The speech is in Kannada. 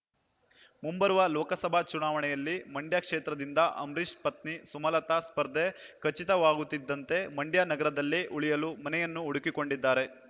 ಮುಂಬರುವ ಲೋಕಸಭಾ ಚುನಾವಣೆಯಲ್ಲಿ ಮಂಡ್ಯ ಕ್ಷೇತ್ರದಿಂದ ಅಂಬರೀಷ್‌ ಪತ್ನಿ ಸುಮಲತಾ ಸ್ಪರ್ಧೆ ಖಚಿತವಾಗುತ್ತಿದ್ದಂತೆ ಮಂಡ್ಯ ನಗರದಲ್ಲೇ ಉಳಿಯಲು ಮನೆಯನ್ನು ಹುಡುಕಿಕೊಂಡಿದ್ದಾರೆ